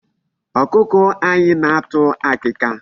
Ọkụkọ anyị na-atụ akịka.